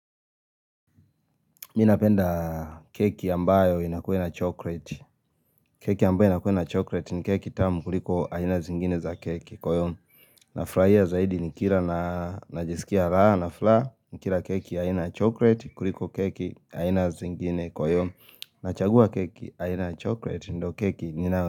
Mimi napenda keki ambayo inakuwe na chocolate keki ambayo inakuwe na chocolate ni keki tamu kuliko aina zingine za keki Kwa hiyo nafurahia zaidi nikila na najisikia raha na furaha Nikira keki aina chocolate kuliko keki aina zingine Kwa hiyo na chagua keki aina chocolate ndo keki ninawe.